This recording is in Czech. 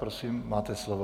Prosím, máte slovo.